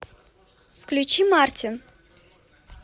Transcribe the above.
включи мартин